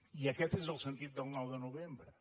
i aquest és el sentit del nou de novembre